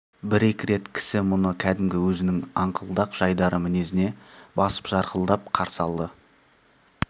бір-екі рет кісі мұны кәдімгі өзінің аңқылдақ жайдары мінезіне басып жарқылдап қарсы алды